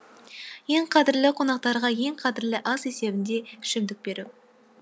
ең қадірлі қонақтарға ең қадірлі ас есебінде ішімдік беру